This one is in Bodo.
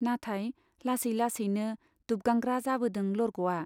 नाथाय लासै लासैनो दुबगांग्रा जाबोदों लरग'वा।